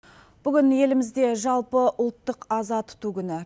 бүгін елімізде жалпыұлттық аза тұту күні